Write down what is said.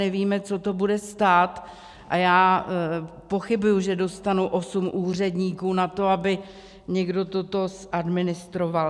Nevíme, co to bude stát, a já pochybuji, že dostanu osm úředníků na to, aby někdo toto zadministroval.